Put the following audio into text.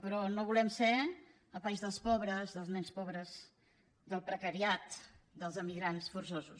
però no volem ser el país dels pobres dels nens pobres del precariat dels emigrants forçosos